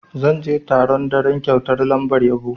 Zan je taron daren kyautar lambar yabo.